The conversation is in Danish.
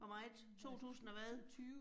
Hvor meget, 2000 og hvad?